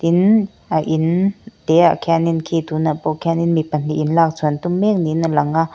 tin a in te ah khian in khian in khi tunah pawh khian in mi pahnih in lak chhuah an tum mek niin a lang a.